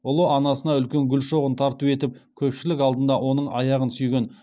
ұлы анасына үлкен гүл шоғын тарту етіп көпшілік алдында оның аяғын сүйген